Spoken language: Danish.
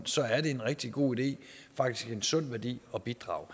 så er en rigtig god idé faktisk en sund værdi at bidrage